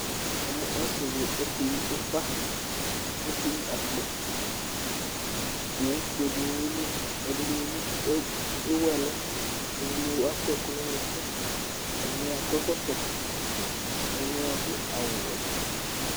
Ɔsɩdɩ ɔkeyɩ ʊfa, ɔkeyɩ akpo Owʊfoe dɩnɩ yelɩ, ɛdɩnɩewʊ ɛlʊ, ɛdɩnɩ akɔ ɛkʊ nʊ ʊnʊkʊ, ɛdɩnɩ akɔ ɛkɔtɔ, ɛdɩnɩadʊ awʊwɛ